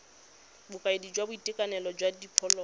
bokaedi jwa boitekanelo jwa diphologolo